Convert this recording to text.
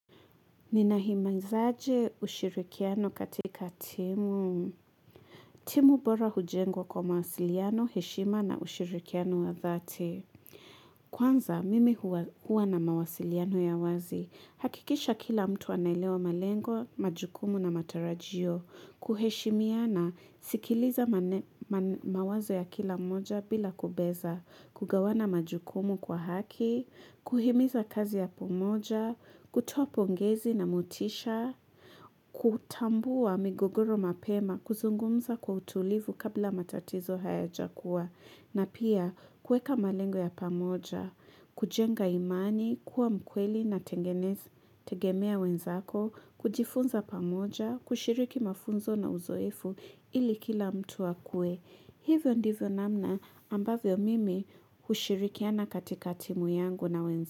Ninahimizaje ushirikiano katika timu. Timu bora hujengwa kwa mawasiliano, heshima na ushirikiano wa dhati. Kwanza, mimi huwa na mawasiliano ya wazi. Hakikisha kila mtu anaelewa malengo, majukumu na matarajio. Kuheshimiana sikiliza mawazo ya kila mmoja bila kubeza. Kugawana majukumu kwa haki. Kuhimiza kazi ya pamoja. Kutoa pongezi na motisha, kutambua migogoro mapema, kuzungumza kwa utulivu kabla matatizo hayajakuwa. Na pia, kuweka malengo ya pamoja, kujenga imani, kuwa mkweli na tegemea wenzako, kujifunza pamoja, kushiriki mafunzo na uzoefu ili kila mtu akuwe. Hivyo ndivyo namna ambavyo mimi hushirikiana katika timu yangu na wenzangu.